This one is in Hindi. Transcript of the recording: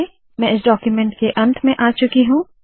मैं इस डाक्यूमेन्ट के अंत में आ चुकी हूँ